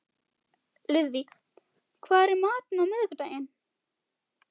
Lúðvík, hvað er í matinn á miðvikudaginn?